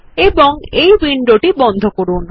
এবং এই উইন্ডোটি বন্ধ করুন